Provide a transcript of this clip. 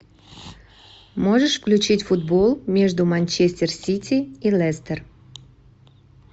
можешь включить футбол между манчестер сити и лестер